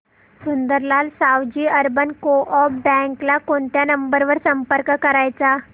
Sundarlal Savji urban co-op bank ला कोणत्या number वर संपर्क करायचा